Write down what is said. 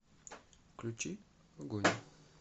включи огонь